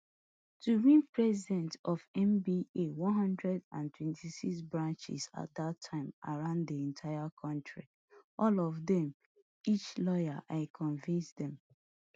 to win president of nba one hundred and twenty-six branches at dat time around di entire kontri all of dem each lawyer i convince dem